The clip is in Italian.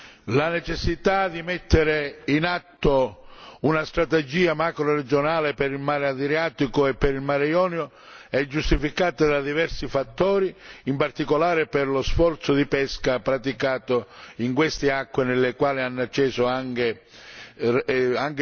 Signor Presidente, la necessità di mettere in atto una strategia macroregionale per il mar Adriatico e per il mar Ionio è giustificata da diversi fattori, in particolare per lo sforzo di pesca praticato in queste acque alle quali hanno accesso anche